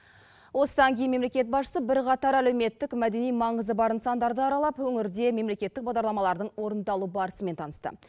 осыдан кейін мемлекет басшысы бірқатар әлеуметтік мәдени маңызы бар нысандарды аралап өңірде мемлекеттік бағдарламалардың орындалу барысымен танысты